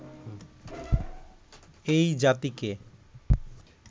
এই জাতিকে